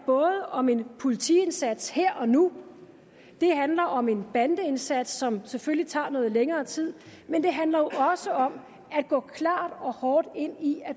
om en politiindsats her og nu det handler om en bandeindsats som selvfølgelig tager noget længere tid men det handler jo også om at gå klart og hårdt ind i